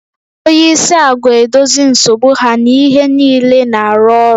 Onye isi agwa edozi nsogbu ha na ihe niile na-arụ ọrụ